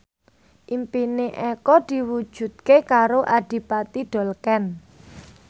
impine Eko diwujudke karo Adipati Dolken